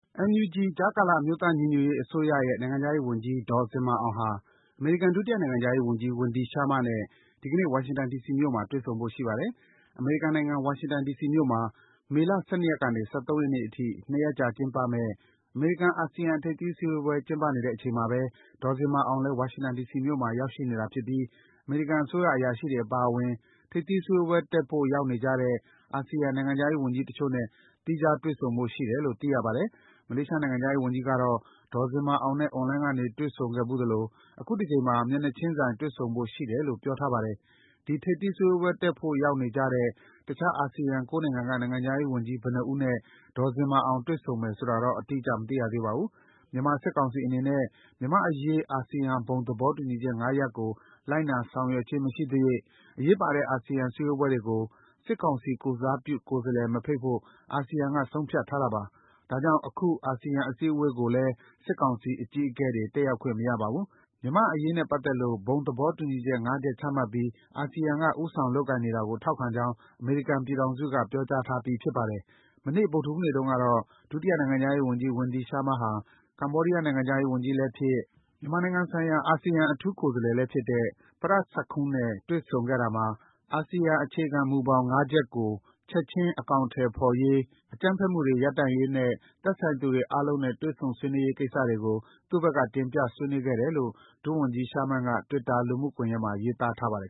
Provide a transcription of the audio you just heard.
NUG - ကြားကာလ အမျိုးသားညီညွတ်ရေးအစိုးရရဲ့ နိုင်ငံခြားရေးဝန်ကြီး ဒေါ်ဇင်မာအောင်ဟာ အမေရိကန် ဒုတိယနိုင်ငံခြားရေးဝန်ကြီး Wendy Sherman နဲ့ ဒီကနေ့ ဝါရှင်တန် ဒီစီမြို့မှာ တွေ့ဆုံဖို့ရှိပါတယ်။ အမေရိကန်နိုင်ငံ၊ ဝါရှင်တန် ဒီစီမြို့မှာ မေလ ၁၂ ရက်နေ ၁၃ ရက်နေ့အထိ ၂ ရက်ကြာ ကျင်းပမယ့် အမေရိကန်-အာဆီယံ ထိပ်သီးစည်းဝေးပွဲကျင်းပနေချိန်မှာ ဒေါ်ဇင်မာအောင်လည်း ဝါရှင်တန် ဒီစီမြို့မှာ ရောက်ရှိနေတာဖြစ်ပြီး အမေရိကန် အစိုးရ အရာရှိတွေအပါအဝင် ထိပ်သီးစည်းဝေးပွဲတက်ဖို့ ရောက်နေကြတဲ့ အာဆီယံနိုင်ငံခြားရေးဝန်ကြီးတချို့နဲ့ သီးခြားစီ တွေ့ဆုံဖို့ရှိတယ်လို့ သိရပါတယ်။ မလေးရှားနိုင်ငံခြားရေးဝန်ကြီးကတော့ ဒေါ်ဇင်မာအောင်နဲ့ အွန်လိုင်းကနေ တွေ့ဆုံခဲ့ဖူးသလို အခုတကြိမ်မှာ မျက်နှာချင်းဆိုင် တွေ့ဆုံဖို့ရှိတယ်လို့ ပြောထားပါတယ်။ ဒီထိပ်သီးစည်းဝေးပွဲကိုတက်ဖို့ရောက်နေကြတဲ့ တခြား အာဆီယံ ၉ နိုင်ငံက နိုင်ငံခြားရေးဝန်ကြီး ဘယ်နှစ်ဦးနဲ့ ဒေါ်ဇင်မာအောင် တွေ့ဆုံမယ်ဆိုတာတော့ အတိအကျ မသိရသေးပါဘူး။ မြန်မာ စစ်ကောင်စီအနေနဲ့ မြန်မာ့အရေးအာဆီယံဘုံသဘောတူညီချက် (၅) ရပ်ကို လိုက်နာဆောင်ရွက်ခြင်းမရှိသ၍ အရေးပါတဲ့ အာဆီယံစည်းဝေးပွဲတွေကို စစ်ကောင်စီကိုယ်စားပြုကိုယ်စားလှယ်ကို မဖိတ်ဖို့ အာဆီယံက ဆုံးဖြတ်ထားတာပါ။ ဒါကြောင့် အခု အစည်းအဝေးကိုလည်း စစ်ကောင်စီအကြီးအကဲတွေ တက်ရောက်ခွင့်မရပါဘူး။ မြန်မာ့အရေးနဲ့ပတ်သက်လို့ အာဆီယံဘုံသဘောတူညီချက်(၅) ချက်မှတ်ပြီး ဦးဆောင်လုပ်ကိုင်နေတာကို ထောက်ခံကြောင်း အမေရိကန်ပြည်ထောင်စုက ပြောကြားထားပြီး ဖြစ်ပါတယ်။ မနေ့ ဗုဒ္ဓဟူးနေ့တုန်းကတော့ ဒုတိယနိုင်ငံခြားရေးဝန်ကြီး Wendy Sherman ဟာ ကမ္ဘာဒီးယားနိုင်ငံခြားရေးဝန်ကြီးလည်းဖြစ်၊ မြန်မာနိုင်ငံဆိုင်ရာ အာဆီယံအထူးကိုယ်စားလှယ်လည်းဖြစ်တဲ့ Prak Sakhonn နဲ့ တွေ့ဆုံခဲ့တာမှာ အာဆီယံ အခြေခံမူဘောင် (၅) ချက်ကို ချက်ခြင်းအကောင်အထည်ဖော်ဆောင်ရေး၊ အကြမ်းဖက်မှုတွေရပ်တန့်ရေးနဲ့ သက်ဆိုင်သူအားလုံးနဲ့ တွေ့ဆုံ ဆွေးနွေးရေးကိစ္စတွေကို သူ့ဘက်က တင်ပြ ဆွေးနွေးခဲ့တယ်လို့ ဒုဝန်ကြီး Sherman က Twitter လူမှုကွန်ယက်မှာ ရေးသားထားပါတယ်